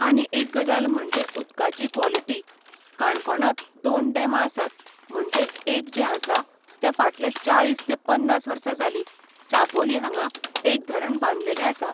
आनी एक गजाल म्हणजे उदकाची क्वोलिटी काणकोणांत दोन डेमां आसात म्हणजे एक जे आसा ते फाटले चाळीस तें पन्नास वर्सा जाली चापोली हांगा एक धरण बांदलेले आसा